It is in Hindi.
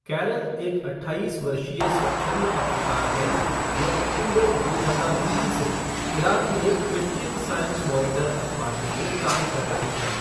कैरल एक अट्ठाईस वर्षीय स्वच्छंद पत्रकार हैं, जो अक्टूबर दो हजार तीन से इराक में क्रिश्चियन साइंस मॉनिटर अखबार के लिए काम कर रही हैं।